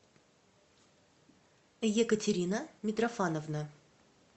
екатерина митрофановна